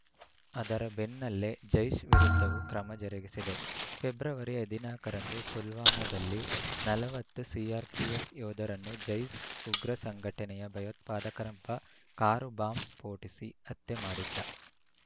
ಅದರ ಬೆನ್ನಲ್ಲೇ ಜೈಷ್‌ ವಿರುದ್ಧವೂ ಕ್ರಮ ಜರುಗಿಸಿದೆ ಫೆಬ್ರವರಿ ಹದಿನಾಲ್ಕ ರಂದು ಪುಲ್ವಾಮಾದಲ್ಲಿ ನಲವತ್ತು ಸಿಆರ್‌ಪಿಎಫ್‌ ಯೋಧರನ್ನು ಜೈಷ್‌ ಉಗ್ರ ಸಂಘಟನೆಯ ಭಯೋತ್ಪಾದಕನೊಬ್ಬ ಕಾರು ಬಾಂಬ್‌ ಸ್ಫೋಟಿಸಿ ಹತ್ಯೆ ಮಾಡಿದ್ದ